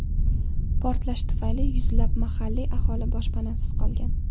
Portlash tufayli yuzlab mahalliy aholi boshpanasiz qolgan.